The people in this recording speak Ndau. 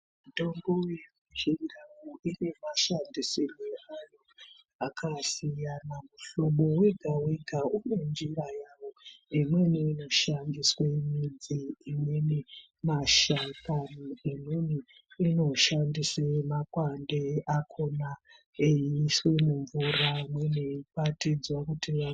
Mitombo yechindau ine mashandisirwo ayo akasiyana. Muhlobo vega-vega une njira yavo imweni inoshandiswe midzi. Imweni mashakani, imweni inoshandise makwande akona eiiswe mumvura, imweni yeikwatidzwa kuti vamwe.